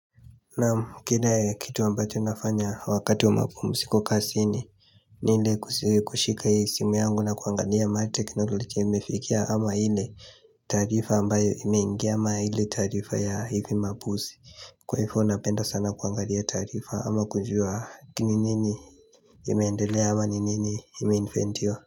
Na kile kitu ambacho nafanya wakati wa mapumziko kazini ni ile kushika ya simu yangu na kuangalia mahali teknologia imefikia ama ile taarifa ambayo imeingia ama ile taarifa ya hivi mabuzi Kwa hivyo napenda sana kuangalia taarifa ama kujua kini nini imeendelea ama nini ime inventiwa.